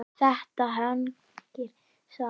Þetta hangir saman.